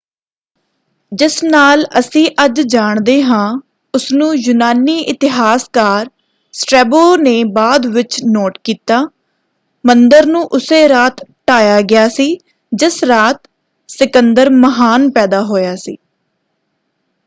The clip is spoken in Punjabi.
ਜਿਸ ਨਾਲ ਅਸੀਂ ਅੱਜ ਜਾਣਦੇ ਹਾਂ ਉਸਨੂੰ ਯੂਨਾਨੀ ਇਤਿਹਾਸਕਾਰ ਸਟ੍ਰੈਬੋ ਨੇ ਬਾਅਦ ਵਿੱਚ ਨੋਟ ਕੀਤਾ। ਮੰਦਰ ਨੂੰ ਉਸੇ ਰਾਤ ਢਾਹਿਆ ਗਿਆ ਸੀ ਜਿਸ ਰਾਤ ਸਿਕੰਦਰ ਮਹਾਨ ਪੈਦਾ ਹੋਇਆ ਸੀ।